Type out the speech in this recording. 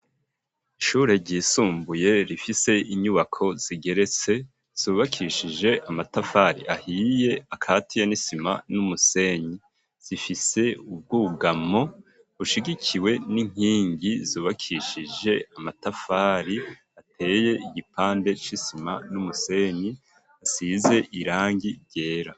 Ishure ryisumbuye rifise inyubako zigeretse zubakishije amatafari ahiye akatiye n'isima n'umusenyi zifise ubwugamo bushigikiwe n'inkingi zubakishije amatafari ateye igipande c'isima n'umusenyi hasize irangi ryera.